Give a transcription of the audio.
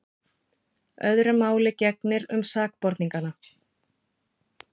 Öðru máli gegnir um sakborningana.